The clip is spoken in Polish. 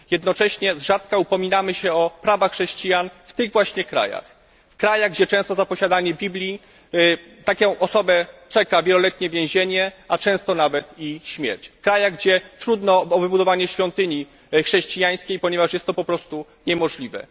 Jednocześnie z rzadka upominamy się o prawa chrześcijan w tych właśnie krajach, w krajach, gdzie często za posiadanie Biblii taką osobę czeka wieloletnie więzienie, a niejednokrotnie nawet i śmierć, w krajach, gdzie trudno o wybudowanie świątyni chrześcijańskiej, ponieważ jest to po prostu niemożliwe.